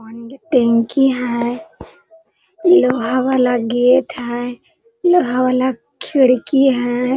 Only टेंकी है लोहा वाला गेट है लोहा वाला खिड़की है ।